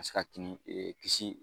se ka kini kisi